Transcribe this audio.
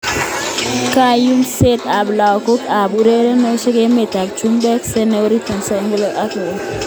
Kayumset ab logoiwek ab urerenosiek emer ab chumbek: Sane, Origi, Trezeguet, Gareth Bale, Lookman, Ayew